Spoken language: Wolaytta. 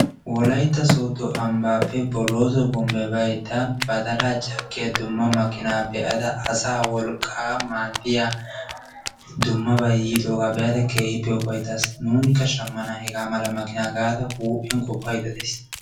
Wolaytta soodo bombbe baaydda badala caakkiya dumma makinay be'ada asaa wolqqa maaddiyaa dummabay yiidooga be'ada keehippe ufayttas. nuunikka shammana hega mala gaada huuphiyan qopaydda days.